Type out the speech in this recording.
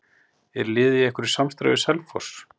Er liðið í einhverju samstarfi við Selfoss?